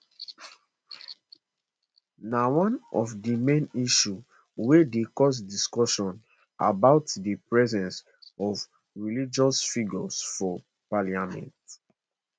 na one of di main issues wey dey cause discussion about di presence of religious figures for parliament